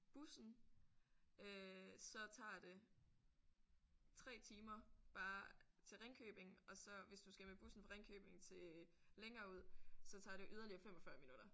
Bussen øh så tager det 3 timer bare til Ringkøbing og så hvis du skal med bussen fra Ringkøbing til længere ud så tager det yderligere 45 minutter